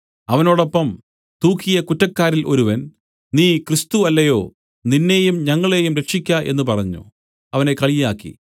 അവനോടൊപ്പം തൂക്കിയ കുറ്റക്കാരിൽ ഒരുവൻ നീ ക്രിസ്തു അല്ലയോ നിന്നെയും ഞങ്ങളെയും രക്ഷിയ്ക്ക എന്നു പറഞ്ഞു അവനെ കളിയാക്കി